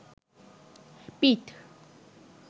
পিঠ